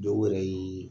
Dɔw yɛrɛ ye